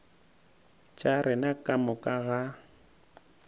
tša rena ka moka ga